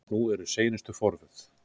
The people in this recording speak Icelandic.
Nú eru seinustu forvöð.